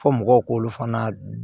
Fɔ mɔgɔw k'olu fana